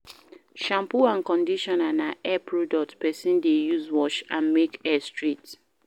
Shampoo and conditional na hair products person de use wash and make hair straight